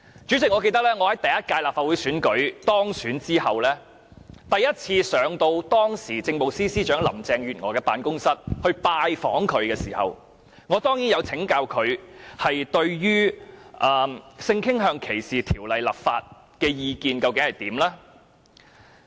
主席，記得在我首次於立法會選舉當選後，我來到當時的政務司司長林鄭月娥的辦公室向她拜訪時，當然曾請教她對於性傾向歧視條例立法的意見。